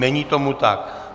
Není tomu tak.